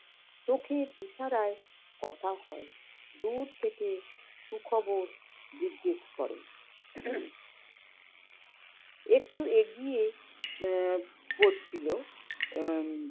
চোখের ইশারায় কথা হয়। দূর থেকে সুখবর জিজ্ঞেস করে। একটু এগিয়ে আহ পড়ছিল আহ